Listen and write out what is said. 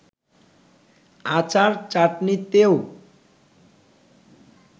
আচার-চাটনিতেও